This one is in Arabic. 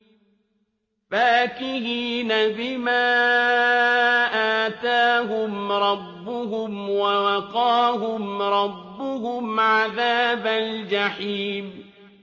فَاكِهِينَ بِمَا آتَاهُمْ رَبُّهُمْ وَوَقَاهُمْ رَبُّهُمْ عَذَابَ الْجَحِيمِ